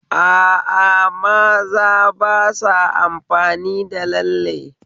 A a, maza ba sa amfani da lalle